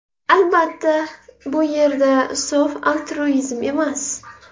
Albatta, bu yerda sof altruizm emas.